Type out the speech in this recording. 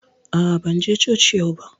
A'a, ban je coci yau ba